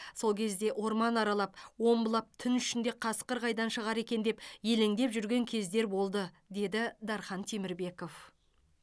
сол кезде орман аралап омбылап түн ішінде қасқыр қайдан шығар екен деп елеңдеп жүрген кездер болды деді дархан темірбеков